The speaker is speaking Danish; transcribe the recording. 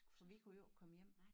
For vi kunne jo ikke komme hjem